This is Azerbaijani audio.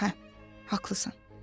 Hə, haqlısan.